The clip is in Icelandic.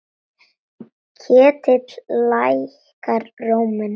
Ketill lækkar róminn.